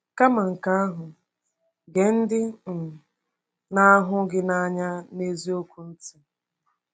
Kama nke ahụ, gee ndị um na-ahụ gị n’anya n’eziokwu ntị.